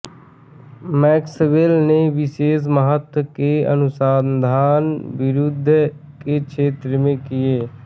Maxwell ने विशेष महत्व के अनुसंधान विद्युत् के क्षेत्र में किए